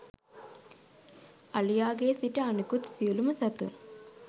අලියාගේ සිට අනිකුත් සියලුම සතුන්